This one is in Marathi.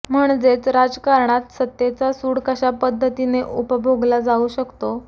म्हणजेच राजकारणात सत्तेचा सूड कशा पध्दतीने उपभोगला जाऊ शकतो